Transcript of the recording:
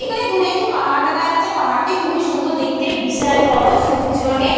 এখানে দৌড়ে একটি পাহাড় দেখা যাচ্ছে পাহাড়টি খুবই সুন্দর দেখতে বিশাল বড় সবুজ রংয়ের।